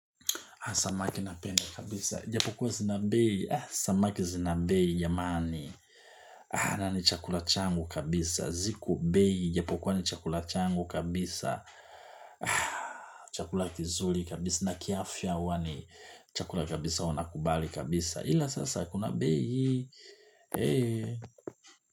Haa, samaki napenda kabisa. Japokua zina bei. Haa, samaki zina bei, ya mani. Haa, na ni chakula changu kabisa. Ziku bei, japokua ni chakula changu kabisa. Haa, chakula kizuli kabisa. Na kiafya huwa ni chakula kabisa wana kubali kabisa. Ila sasa, kuna bei. Heee.